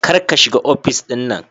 Kar ka shiga ofis din nan